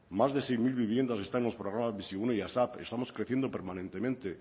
más de seis mil viviendas están los programas bizigune y asap estamos creciendo permanentemente